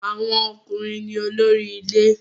Awon okunrin ni olori ile